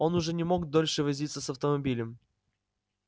он уже не мог дольше возиться с автомобилем